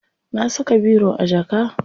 Na saka biro a jaka.